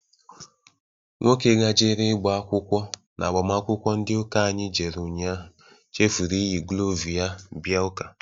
Nwoke gajere igba akwụkwọ n'agbamakwụkwọ ndị ụka anyị jere ụnyaahụ chefuru iyiri glovu ya bia ụka.